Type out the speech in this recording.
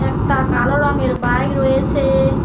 একটা কালো রঙের বাইক রয়েসে ।